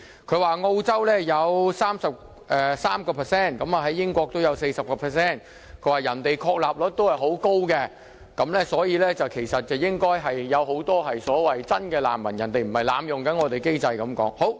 他更說澳洲有 33%， 英國有 40%， 別人的確立率很高，所以，社會裏應該有很多真難民，他們不是濫用我們的機制。